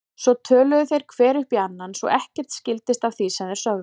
Svo töluðu þeir hver upp í annan svo ekkert skildist af því sem þeir sögðu.